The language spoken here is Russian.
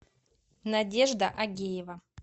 надежда агеева